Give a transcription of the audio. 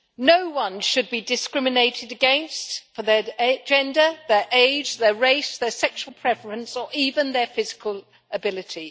No one should be discriminated against for their gender, their age, their race, their sexual preference or even their physical ability.